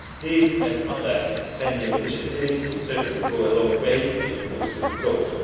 These and other pending initiatives would certainly go a long way in boosting growth.